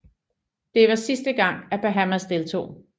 Det var sidste gang at Bahamas deltog